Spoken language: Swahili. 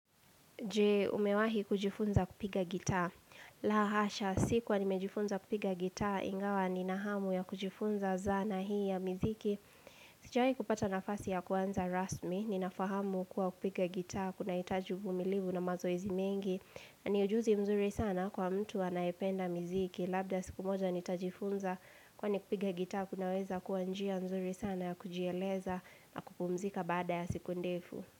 Je, umewahi kujifunza kupiga gitaa. La hasha, sikuwa nimejifunza kupiga gitaa, ingawa ninahamu ya kujifunza zana hii ya miziki. Sijawahi kupata nafasi ya kuanza rasmi, ninafahamu kuwa kupiga gitaa, kuna hitaji umilivu na mazoezi mengi. Na ni ujuzi mzuri sana kwa mtu anayependa miziki. Labda siku moja nitajifunza kwani kupiga gitaa, kunaweza kuwanjia mzuri sana ya kujieleza na kupumzika baada ya siku ndefu.